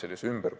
Aitäh!